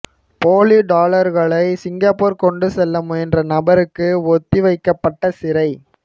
போலி டொலர்களை சிங்கப்பூர் கொண்டு செல்ல முயன்ற நபருக்கு ஒத்திவைக்கப்பட்ட சிறை